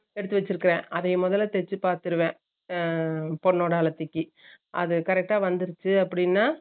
எடுத்து வெச்சுருக்கேன் அத முதல்ல தேச்சு பாத்துருவேன் அஹ பொண்ணோட அழைப்புக்கு, அது correct ட வந்துருச்சு அப்பிடினா